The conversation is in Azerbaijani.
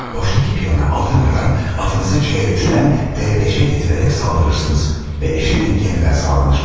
Boşdakı piyona aldırmadan atınızı C3-dən D5-ə gətirərək saldırırsınız və eşitlik yenidən sağlanır.